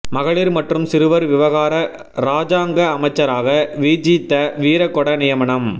மகளீர் மற்றும் சிறுவர் விவகார இராஜாங்க அமைச்சராக விஜித வீரகொட நியமனம்